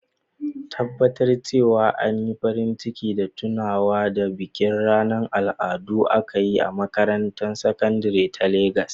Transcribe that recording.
Tabbatar cewa an yi farin ciki da tunawa da bikin ranar al'adu da aka yi a makarantar sakandare ta Legas.